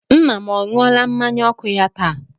Nna m ọ ṅụọla mmanya ọkụ ya taa?